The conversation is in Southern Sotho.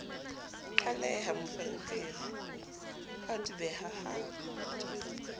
qaleha moferefere ha dubeha ha